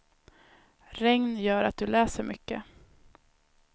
Regn gör att du läser mycket.